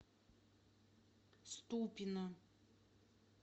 ступино